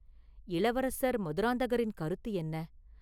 இளவரசர் மதுராந்தகரின் கருத்து என்ன?